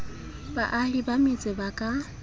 baahi ba metse ba ka